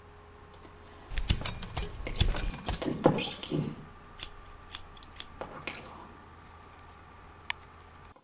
пельмени татарские полкило